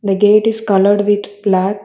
The gate is coloured with black.